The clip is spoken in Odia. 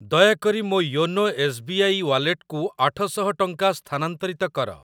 ଦୟାକରି ମୋ ୟୋନୋ ଏସ୍ ବି ଆଇ ୱାଲେଟକୁ ଆଠ ଶହ ଟଙ୍କା ସ୍ଥାନାନ୍ତରିତ କର।